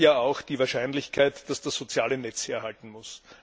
Damit steigt ja auch die Wahrscheinlichkeit, dass das soziale Netz herhalten muss.